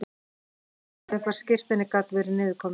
Ég hafði ekki hugmynd um hvar skírteinið gat verið niður komið.